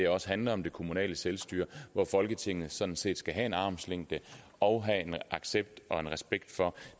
også handler om det kommunale selvstyre og at folketinget sådan set skal have en armslængde og en accept og respekt